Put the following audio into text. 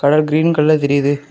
Green colour தெரியுது.